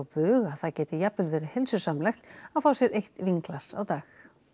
bug að það geti jafnvel verið heilsusamlegt að fá sér eitt vínglas á dag